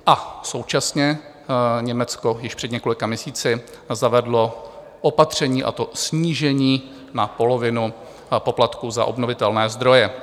A současně Německo již před několika měsíci zavedlo opatření, a to snížení na polovinu poplatků za obnovitelné zdroje.